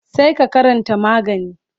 sai ka karanta magani.